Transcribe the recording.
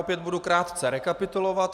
Opět budu krátce rekapitulovat.